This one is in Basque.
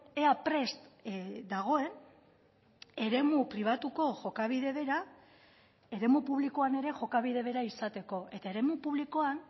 ea prest dagoen eremu pribatuko jokabide bera eremu publikoan ere jokabide bera izateko eta eremu publikoan